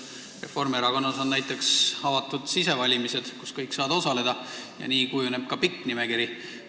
Reformierakonnas on näiteks avatud sisevalimised, kus saavad osaleda kõik, ja nii kujuneb ka pikk nimekiri.